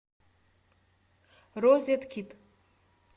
розеткид